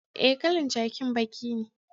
Eh, kalan jakin baki ne.